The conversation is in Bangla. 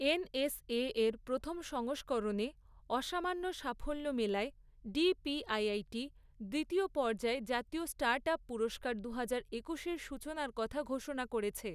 এনএসএর প্রথম সংস্করণে আসামান্য সাফল্য মেলায় ডিপিআইআইটি দ্বিতীয় পর্যায়ে জাতীয় স্টার্টআপ পুরস্কার দুহাজার একুশের সূচনার কথা ঘোষণা করেছে।